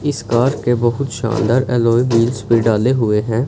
इस कार के बहुत शानदार एलॉय व्हील्स पे डाले हुए हैं।